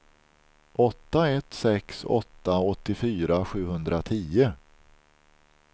åtta ett sex åtta åttiofyra sjuhundratio